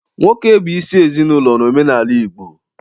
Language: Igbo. Nwoke bụ isi ezinaụlọ n'omenala Igbo.